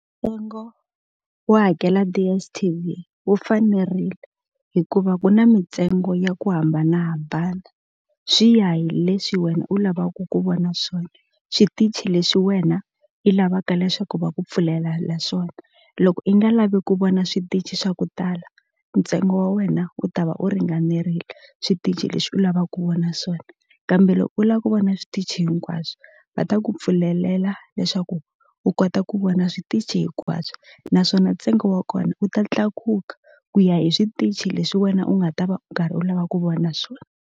Ntsengo wo hakela DSTV wu fanerile hikuva ku na mintsengo ya ku hambanahambana swi ya hi leswi wena u lavaka ku vona swona switichi leswi wena i lavaka leswaku va ku pfulelela swona loko i nga lavi ku vona switichi swa ku tala ntsengo wa wena u ta va u ringanerile switichi leswi u lava ku vona swona kambe loko u la ku vona switichi hinkwaswo va ta ku pfulelela leswaku u kota ku vona switichi hinkwaswo naswona ntsengo wa kona wu ta tlakuka ku ya hi switichi leswi wena u nga ta va u karhi u lava ku vona swona.